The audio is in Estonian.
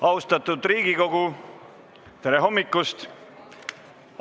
Austatud Riigikogu, tere hommikust!